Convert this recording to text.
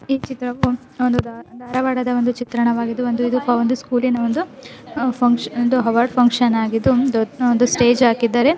ಈ ಚಿತ್ರವು ಒಂದು ಧಾರವಾಡ ಧಾರವಾಡದ ಒಂದು ವಿತ್ರವ್ವಗಿದ್ದು ಇದು ಒಂದು ಸ್ಕೂಲ್ ಇನ ಒಂದು ಇದು ಅವಾರ್ಡ್ ಫ್ಯಾಂಕ್ಷನ್ ಆಗಿದ್ದು. ಒಂದು ಸ್ಟೇಜ್ ಹಾಕಿದ್ದಾರೆ.